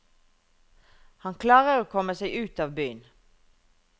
Han klarer å komme seg ut av byen.